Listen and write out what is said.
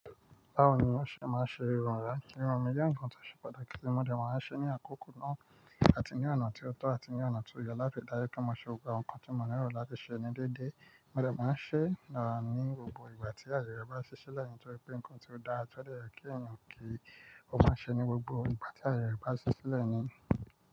Báwo ni wọ́n ṣe máa ń ṣe irun rẹ? Irun mi jẹ́ ǹkan tó ṣe pàtàkì, mo dẹ̀ wọ́n á ṣe ní àkókò náà àti ní ọ̀nà tí ó tọ́ àti ní ọ̀nà tí ó yẹ láfẹ̀ẹ̀dayọ́ kí wọ́n má ṣe gbogbo ǹkan tí mò ní ọ̀rọ̀ láti ṣe ní dédé. Mo dẹ̀ máa ń ṣe náà ní gbogbo ìgbà tí àyè rẹ̀ bá sì ṣilẹ nitóri pé ǹkan tí ó da tọ́ dẹ̀ yẹ̀ kí èyàn kí í, ó máa ń ṣe é ní gbogbo ìgbà tí àyè rẹ̀ bá sì ṣilẹ́ ni.